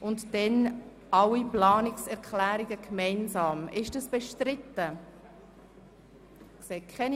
Anschliessend möchte ich alle Planungserklärungen gemeinsam diskutieren lassen.